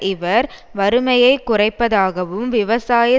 இவர் வறுமையை குறைப்பதாகவும் விவசாய